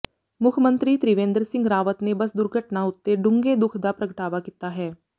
ਮੁੱਖਮੰਤਰੀ ਤ੍ਰਿਵੇਂਦਰ ਸਿੰਘ ਰਾਵਤ ਨੇ ਬੱਸ ਦੁਰਘਟਨਾ ਉੱਤੇ ਡੂੰਘੇ ਦੁੱਖ ਦਾ ਪ੍ਰਗਟਾਵਾ ਕੀਤਾ ਹੈ